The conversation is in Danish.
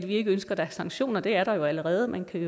ikke ønsker at der er sanktioner det er der jo allerede man kan